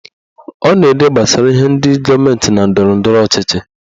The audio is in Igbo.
Ọ na-ede gbasara ihe ndị gọọmenti na ndọrọndọrọ ọchịchị